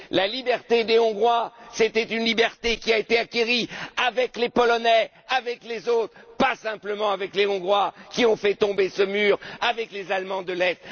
La liberté des Hongrois, c'est une liberté qui a été acquise avec les Polonais et avec d'autres, et pas simplement avec les Hongrois, qui ont fait tomber ce mur avec les Allemands de l'Est.